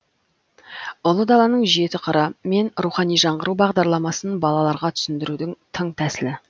ұлы даланың жеті қыры мен рухани жаңғыру бағдарламасын балаларға түсіндірудің тың тәсілі